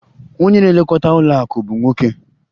Onye na-elekọta ụlọ akụ bụ nwoke.